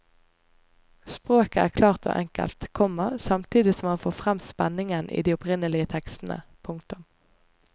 Språket er klart og enkelt, komma samtidig som han får frem spenningen i de opprinnelige tekstene. punktum